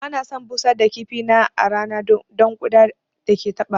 Ba na son busar da kifi na a rana don ƙuda da ke taɓawa